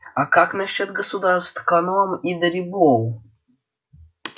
а как насчёт государств коном и дарибоу